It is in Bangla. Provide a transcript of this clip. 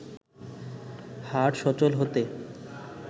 হাট সচল হতে